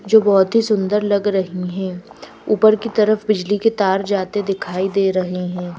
जो बहुत ही सुंदर लग रही हैं ऊपर की तरफ बिजली के तार जाते दिखाई दे रहे हैं--